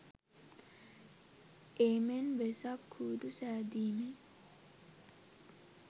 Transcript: ඒමෙන් වෙසක් කූඩු සෑදිමේ